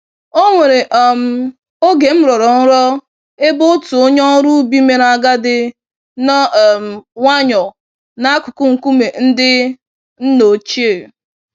Onwere um oge m rọrọ nrọ ebe otu onye ọrụ ubi mèrè agadi, nọ um nwayọ n'akụkụ nkume ndị nna ochie.